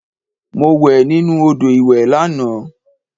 Mo wẹ̀ nínú odò ìwẹ̀ lànà